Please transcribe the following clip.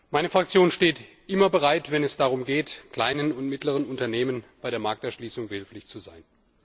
Meine Fraktion steht immer bereit, wenn es darum geht, kleinen und mittleren Unternehmen bei der Markterschließung behilflich zu sein.